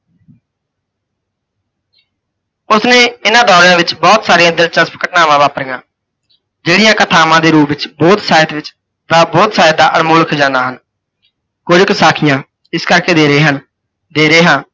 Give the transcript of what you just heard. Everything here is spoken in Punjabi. ਉਸਨੇ ਇਨ੍ਹਾਂ ਦੌਰਿਆਂ ਵਿੱਚ ਬਹੁਤ ਸਾਰੀਆਂ ਦਿਲਚਸਪ ਘਟਨਾਵਾਂ ਵਾਪਰੀਆਂ, ਜਿਹੜੀਆਂ ਕਥਾਵਾਂ ਦੇ ਰੂਪ ਵਿੱਚ ਬੌਧ ਸਾਹਿਤ ਵਿੱਚ, ਬੌਧ ਸਾਹਿਤ ਦਾ ਅਨਮੋਲ ਖਜਾਨਾ ਹਨ। ਕੁੱਝ ਕੁ ਸਾਖੀਆਂ ਇਸ ਕਰਕੇ ਦੇ ਰਹੇ ਹਨ, ਦੇ ਰਹੇ ਹਾਂ